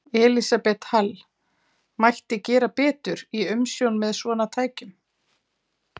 Elísabet Hall: Mætti gera betur í umsjón með svona tækjum?